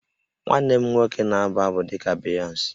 Nwanne m nwoke na-abụ abụ dị ka Beyonce